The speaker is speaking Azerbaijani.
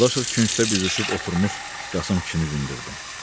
Dadaşov küncdə büzüşüb oturmuş Qasım kişini dindirdi.